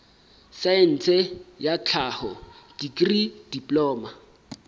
saense ya tlhaho dikri diploma